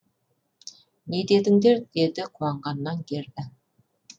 не дедіңдер деді қуанғаннан герда